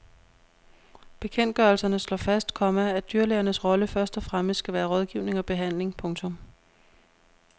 Bekendtgørelserne slår fast, komma at dyrlægernes rolle først og fremmest skal være rådgivning og behandling. punktum